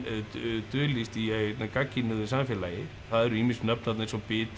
dulist í gagnkynhneigðu samfélagi það eru ýmis nöfn þarna eins og Bitra